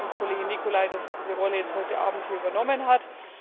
Danke an die Kollegin Nicolai, dass sie diese Rolle heute Abend hier übernommen hat.